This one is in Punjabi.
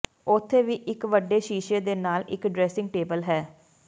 ਉੱਥੇ ਵੀ ਇੱਕ ਵੱਡੇ ਸ਼ੀਸ਼ੇ ਦੇ ਨਾਲ ਇੱਕ ਡਰੈਸਿੰਗ ਟੇਬਲ ਹੈ